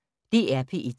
DR P1